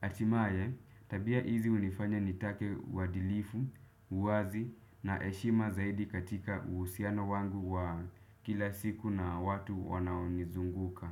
Atimaye tabia hizi hunifanya nitake uadilifu, uwazi na eshima zaidi katika uhusiano wangu wa kila siku na watu wanaonizunguka.